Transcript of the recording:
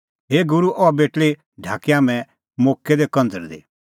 हे गूरू अह बेटल़ी ढाकी हाम्हैं मोक्कै दी कंझ़रदी